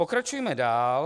Pokračujme dál.